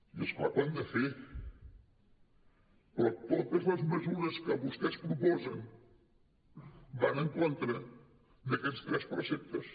i és clar que ho hem de fer però totes les mesures que vostès proposen van en contra d’aquests tres preceptes